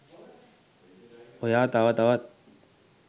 ඔයා තව තවත්